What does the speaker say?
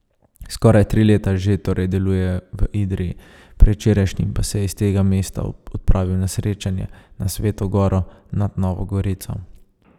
Skoraj tri leta že torej deluje v Idriji, predvčerajšnjim pa se je iz tega mesta odpravil na srečanje na Sveto Goro nad Novo Gorico.